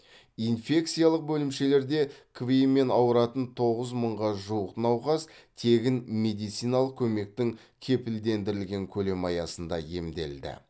инфекциялық бөлімшелерде кви мен ауыратын тоғыз мыңға жуық науқас тегін медициналық көмектің кепілдендірілген көлемі аясында емделді